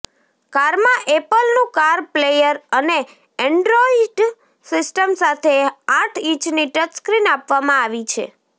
કારમાં એપલનું car player અને એન્ડ્રોઈડ સિસ્ટમ સાથે આઠ ઈંચની ટચસ્ક્રિન આપવામાં આવી છે